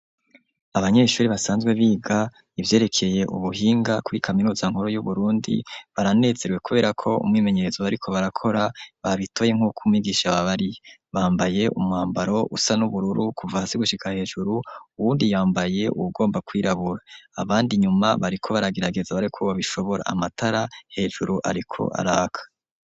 Abanyeshuri basanzwe biga ivyerekeye ubuhinga kuri kaminuza nkuru yu Burundi, baranezerewe kubera ko umwimenyerezo bariko barakora babitoye nkuko umwigisha yababariye, bambaye umwambaro usa n'ubururu kuva hasi gushika hejuru, uwundi yambaye uwugomba kwirabura, abandi inyuma bariko baragerageza barabe ko babishobora, amatara hejuru ariko araka.